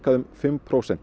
um fimm prósent